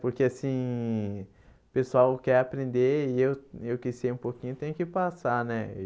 Porque, assim, o pessoal quer aprender e eu eu que sei um pouquinho, tenho que passar, né?